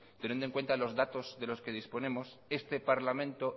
teniendo en cuenta los datos de los que disponemos este parlamento